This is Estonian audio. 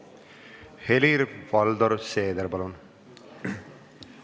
Helir-Valdor Seeder, palun!